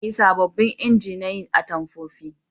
Za a yi sabobbin inji na yin atamfofi